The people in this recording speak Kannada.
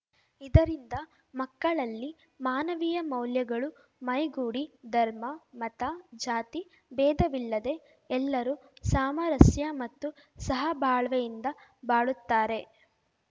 ಇದರಿಂದ ಮಕ್ಕಳಲ್ಲಿ ಮಾನವೀಯ ಮೌಲ್ಯಗಳು ಮೈಗೂಡಿ ಧರ್ಮ ಮತ ಜಾತಿಬೇಧವಿಲ್ಲದೆ ಎಲ್ಲರೂ ಸಾಮಾರಸ್ಯ ಮತ್ತು ಸಹಭಾಳ್ವೆಯಿಂದ ಬಾಳುತ್ತಾರೆ